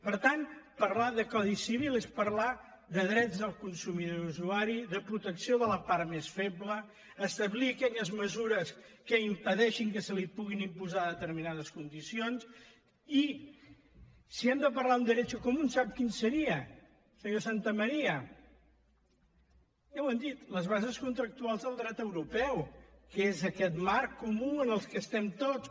per tant parlar de codi civil és parlar de drets del consumidor i usuari de protecció de la part més feble establir aquelles mesures que impedeixin que se li puguin imposar determinades condicions i si hem de parlar amb derecho comúntamaría ja ho hem dit les bases contractuals del dret europeu que és aquest marc comú en què estem tots